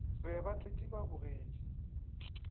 be ba tletše ba bogetše